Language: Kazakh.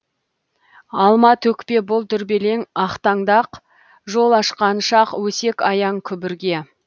алма төкпе бұл дүрбелең ақтаңдақ жол ашқан шақ өсек аяң күбірге